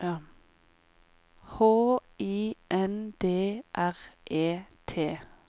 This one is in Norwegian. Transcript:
H I N D R E T